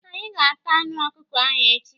Anyị ga- ata anụ ọkụkọ ahụ echi.